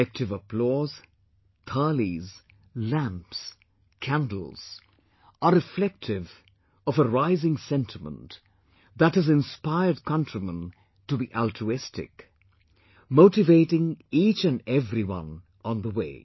Collective applause, Thaalis, lamps, candles are reflective of a rising sentiment that has inspired countrymen to be altruistic, motivating each and everyone on the way